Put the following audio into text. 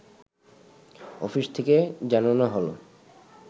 office থেকে জানানো হলো